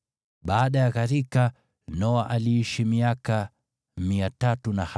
Baada ya gharika Noa aliishi miaka 350.